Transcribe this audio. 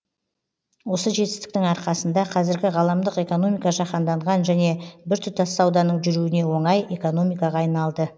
осы жетістіктің арқасында қазіргі ғаламдық экономика жаһанданған және біртұтас сауданың жүруіне оңай экономикаға айналды